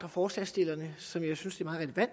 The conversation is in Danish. forslagsstillerne som jeg synes